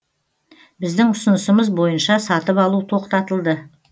біздің ұсынысымыз бойынша сатып алу тоқтатылды